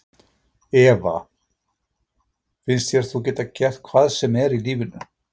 Eva: Finnst þér þú geta gert hvað sem er í lífinu?